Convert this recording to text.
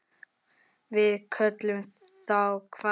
Við köllum þá hvali.